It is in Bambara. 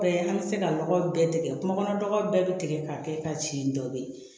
An bɛ se ka nɔgɔ bɛɛ tigɛ kunkɔnɔ nɔgɔ bɛɛ bɛ tigɛ ka kɛ ka ci dɔ bɛ yen